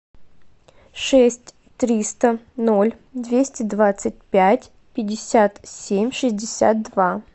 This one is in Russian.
шесть триста ноль двести двадцать пять пятьдесят семь шестьдесят два